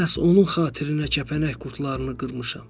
Məhz onun xatirinə kəpənək qurdlarını qırmışam.